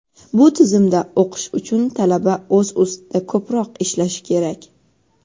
Bu tizimda o‘qish uchun talaba o‘z ustida ko‘proq ishlashi kerak.